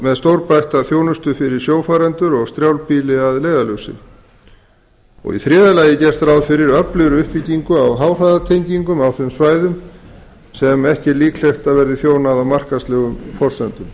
með stórbætta þjónustu fyrir sjófarendur og strjálbýlið að leiðarljósi í þriðja lagi er gert ráð fyrir öflugri uppbyggingu á háhraðatengingum á þeim svæðum sem ekki er líklegt að verði þjónað á markaðslegum forsendum